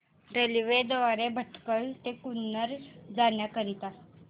railway द्वारे भटकळ ते कन्नूर जाण्या करीता